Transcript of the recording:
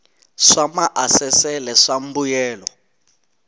swa maasesele swa mbuyelo wa